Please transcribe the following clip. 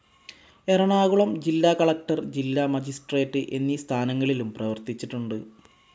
എറണാംകുളം ജില്ലാകലക്ടർ, ജില്ലാ മജിസ്ട്രേറ്റ്‌ എന്നീ സ്ഥാനങ്ങളിലും പ്രവർത്തിച്ചിട്ടുണ്ട്.